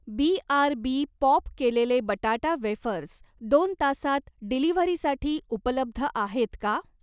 BRB pop केलेले बटाटा wafers दोन तासांत डिलिव्हरीसाठी उपलब्ध आहेत का?